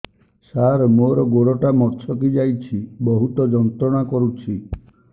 ସାର ମୋର ଗୋଡ ଟା ମଛକି ଯାଇଛି ବହୁତ ଯନ୍ତ୍ରଣା କରୁଛି